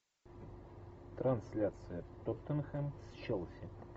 трансляция тоттенхэм с челси